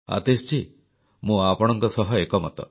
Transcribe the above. ଆତୀଶଜୀ ମୁଁ ଆପଣଙ୍କ ସହ ଏକମତ